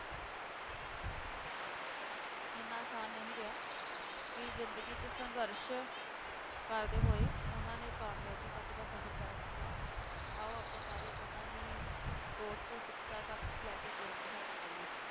ਇੰਨਾ ਆਸਾਨ ਨਹੀਂ ਰਿਹਾ ਕਿ ਜ਼ਿੰਦਗੀ 'ਚ ਸੰਘਰਸ਼ ਕਰਦੇ ਹੋਏ ਉਹਨਾਂ ਨੇ ਕਾਮਯਾਬੀ ਤੱਕ ਦਾ ਸਫ਼ਰ ਤਹਿ ਕੀਤਾ, ਆਓ ਆਪਾਂ ਸਾਰੇ ਉਹਨਾਂ ਦੀ ਸੋਚ ਤੋਂ ਸਿੱਖਿਆ ਤੱਕ ਲੈ ਕੇ ਬੁਲੰਦੀ ਹਾਸ਼ਿਲ ਕਰੀਏ।